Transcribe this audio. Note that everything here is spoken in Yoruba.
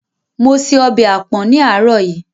Mo se ọbẹ̀ àpọ̀n ní àárọ̀ yìí.